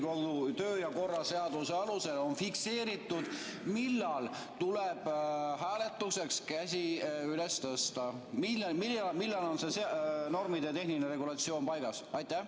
Kus on Riigikogu töö ja korra seaduse alusel fikseeritud, millal tuleb hääletuseks käsi üles tõsta, millal on see normitehniline regulatsioon paigas?